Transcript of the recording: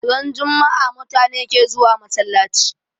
Ran jummaa mutane ke zuwa masallachi